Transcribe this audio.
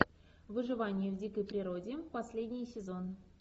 выживание в дикой природе последний сезон